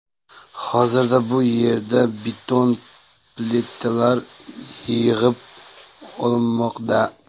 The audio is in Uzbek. Hozirda bu yerda beton plitalar yig‘ib olinmoqda.